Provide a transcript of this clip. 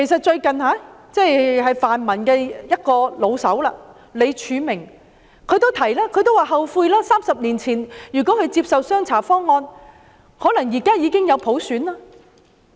最近泛民一位"老手"李柱銘也說，他後悔30年前沒有接受"雙查方案"，否則現在已經有普選。